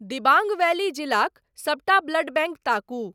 Dibang valley जिलाक सबटा blood bank ताकू ।